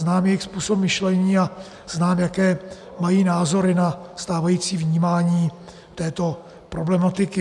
Znám jejich způsob myšlení a znám, jaké mají názory na stávající vnímání této problematiky.